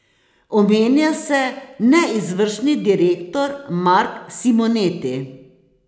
Omenja se neizvršni direktor Mark Simoneti.